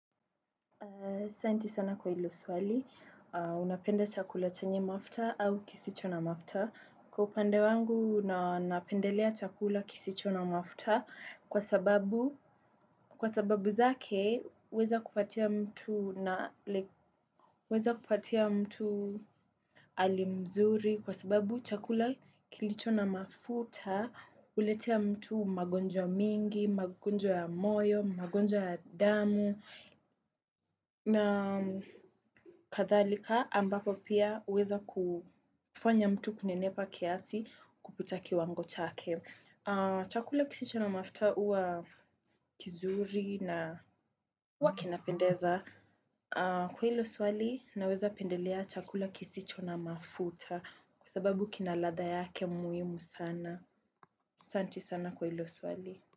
Asanti sana kwa hilo swali: unapenda chakula chenye mafuta au kisicho na mafuta? Kwa upande wangu, napendelea chakula kisicho na mafuta kwa sababu zake, huweza kupatia huweza kupatia mtu hali mzuri kwa sababu chakula chenye mafuta huleta magonjwa mengi, magonjwa ya moyo, magonjwa ya damu. Na kadhalika, ambapo pia huweza kumfanya mtu kunenepa kiasi kuliko kiwango chake. Chakula kisicho na mafuta huwa kizuri na huwa kinapendeza. Kwa hilo swali, naweza pendelea chakula kisicho na mafuta kwa sababu kina ladha yake muhimu sana. Asante sana kwa hilo swali.